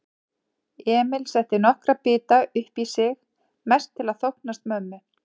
Emil setti nokkra bita uppí sig, mest til að þóknast mömmu.